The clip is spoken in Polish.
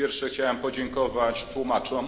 Po pierwsze, chciałem podziękować tłumaczom.